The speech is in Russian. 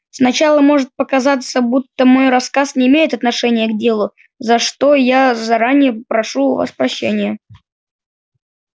сначала может показаться будто мой рассказ не имеет отношения к делу за что я заранее прошу у вас прощения